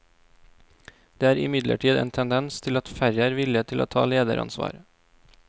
Det er imidlertid en tendens til at færre er villige til å ta lederansvar.